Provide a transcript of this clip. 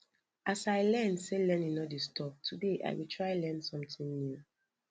as i learn say learning no dey stop today i go try learn sometin new